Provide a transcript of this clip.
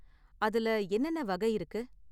அதுல என்னென்ன வகை இருக்கு?